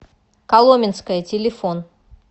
коломенское телефон